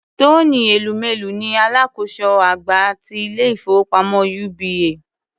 Tony Elumelu ni alákòóso àgbà ti ilé-ìfowópamọ́ UBA.